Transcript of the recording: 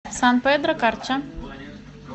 сан педро карча